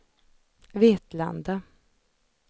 Vetlanda